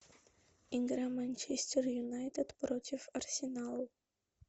игра манчестер юнайтед против арсенала